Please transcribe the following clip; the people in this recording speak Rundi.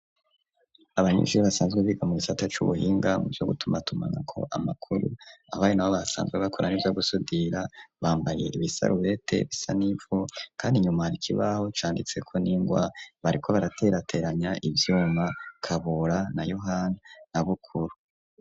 Abanyeshure basanzwe biga mugisata c'ubuhinga mu vyo gutuma tumanako amakuru abaye nabo basanzwe bakora nivyo gusudira bambaye ibisarubete bisa n'ivu, kandi inyuma ikibaho canditse ko n'ingwa bariko baraterateranya uvyuma Kabura na Yohani na Bukuru.